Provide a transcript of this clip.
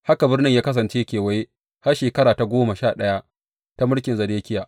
Haka birnin ta kasance a kewaye har shekara ta goma sha ɗaya ta mulkin Zedekiya.